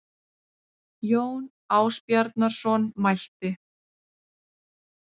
Jón Ásbjarnarson mælti